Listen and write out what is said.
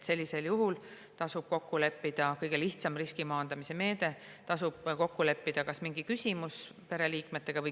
Sellisel juhul tasub kokku leppida kõige lihtsam riski maandamise meede, näiteks mingi küsimus pereliikmetega.